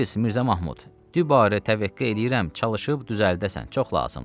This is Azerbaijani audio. “Xudafiz, Mirzə Mahmud, dübarə təvəqqə eləyirəm, çalışıb düzəldəsən, çox lazımdır.